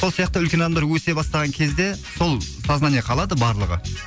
сол сияқты үлкен адамдар өсе бастаған кезде сол сознание қалады барлығы